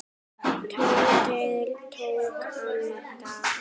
Tóti tók andköf.